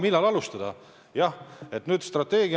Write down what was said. Millal alustame?